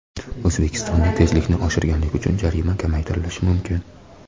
O‘zbekistonda tezlikni oshirganlik uchun jarima kamaytirilishi mumkin.